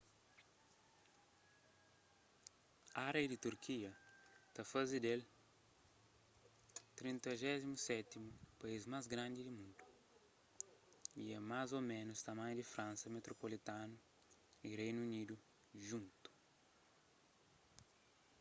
ária di turkia ta faze del 37º país más grandi di mundu y é más ô ménus tamanhu di fransa metropolitanu y di reinu unidu djuntu